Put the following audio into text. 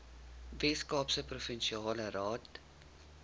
weskaapse provinsiale raad